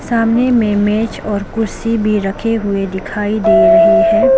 सामने में मेज और कुर्सी भी रखी हुए दिखाई दे रहे है।